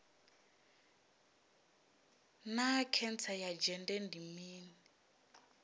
naa khentsa ya dzhende ndi mini